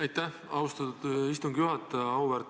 Aitäh, austatud istungi juhataja!